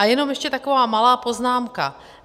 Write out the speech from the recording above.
A jenom ještě taková malá poznámka.